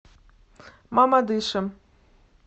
мамадышем